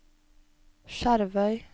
Skjervøy